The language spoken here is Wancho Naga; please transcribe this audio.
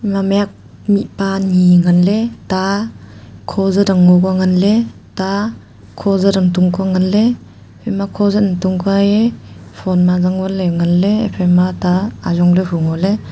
ma mih huak mihpa anyi nganley ta kho jat ang ngo ka nganley ta kho jat ang tung ka nganley haima kho jat ang tung kua e phone ma zangvan ley nganley ephaima ta ajong le hu ngoley.